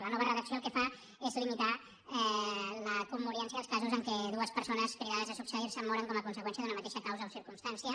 la nova redacció el que fa és limitar la commoriència als casos en què dues persones cridades a succeir se moren com a conseqüència d’una mateixa causa o circumstància